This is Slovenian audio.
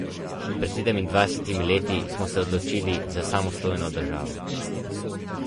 Pred sedemindvajsetimi leti smo se odločili za samostojno državo.